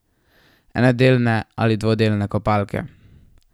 Enodelne ali dvodelne kopalke?